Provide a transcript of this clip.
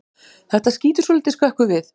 Þetta skýtur svolítið skökku við.